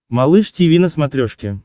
малыш тиви на смотрешке